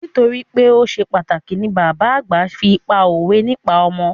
Nítorípé o ṣe pàtàkì ni bàbá àgbà fi pá òwe nípa ọmọ.